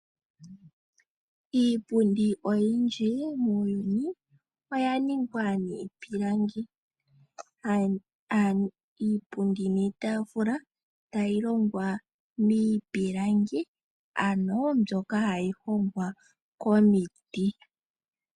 Iipundi oyindji muuyuni oya ningwa niipilangi. Iipundi niitaafula otayi longwa miipilangi ano mbyoka hayi hongwa komiti.